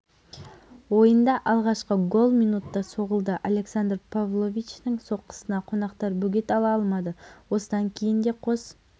аспанасты елінде витастың да есімі танылған универсиаданың хоккейден қыздар арасындағы алғашқы ойынында қазақстан ұлыбританиямен жолықты қазақстанның